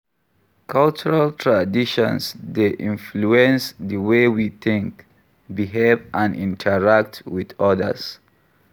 Cultural traditions dey influence di way we think, behave, and interact with odas.